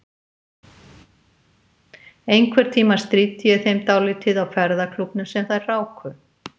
Einhvern tíma stríddi ég þeim dálítið á ferðaklúbbnum sem þær ráku.